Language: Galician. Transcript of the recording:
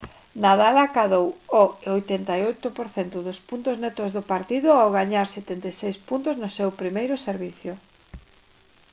nadal acadou o 88 % dos puntos netos do partido ao gañar 76 puntos no seu primeiro servizo